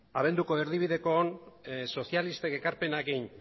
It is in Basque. abenduko erdibidekoan sozialisten egindako ekarpenekin